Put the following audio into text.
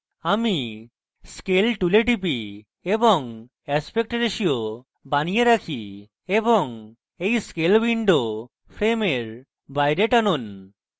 আমি scale tool টিপি এবং aspect ratio বানিয়ে রাখি এবং এই scale window frame বাইরে টানুন